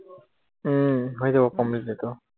উম হৈ যাব complete এইতো